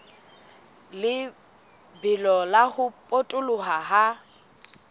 lebelo la ho potoloha ha